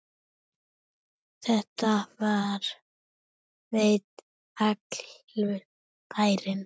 Þetta veit allur bærinn!